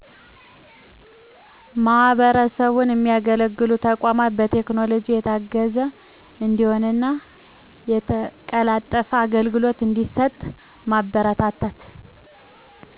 ማህበረሰቡን የሚያገለግሉ ተቋማት በቴክኖሎጂ የታገዘ እንዲሆንና የተቀላጠፈ አገልግሎ እዲሠጥ ማበረታታት